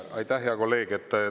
Aitäh, hea kolleeg!